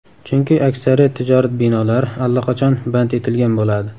Chunki aksariyat tijorat binolari allaqachon band etilgan bo‘ladi.